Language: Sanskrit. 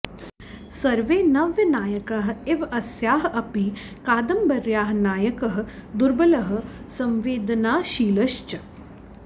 सर्वे नव्यनायकाः इव अस्याः अपि कादम्बर्याः नायकः दुर्बलः संवेदनाशीलश्च